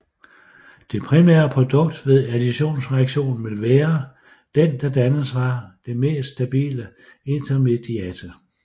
Det primære produkt ved additionsreaktionen vil være den der dannes fra det mest stabile intermediate